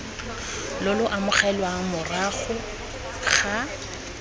lo lo amogelwang morago ga